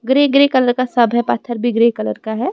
Grey grey colour का सब है पत्थर भी ग्रे कलर का है।